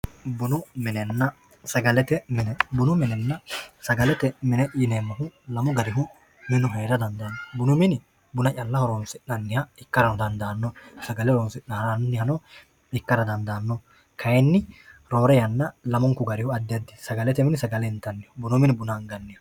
bunu minenna sagalete mine bunu minenna sagalete mine yineemmohu lamu garihu minu heerara dandaanno bunu mini buna calla horonsi'nanniha ikkarano dandaanno sagale horonsi'nannihano ikkara dandaanno kayiinni roore yanna lamunku garihu addi addiho sagalete mini sagale intanniho bunu mini buna anganniho.